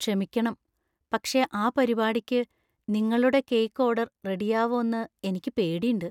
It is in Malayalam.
ക്ഷമിക്കണം, പക്ഷേ ആ പരിപാടിക്ക് നിങ്ങളുടെ കേക്ക് ഓർഡർ റെഡിയാവോന്നു എനിക്ക് പേടിണ്ട്.